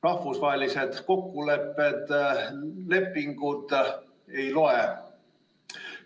Rahvusvahelised kokkulepped ja lepingud ei loe.